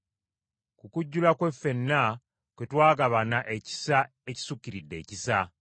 Ku kujjula kwe ffenna kwe twagabana ekisa ekisukiridde ekisa.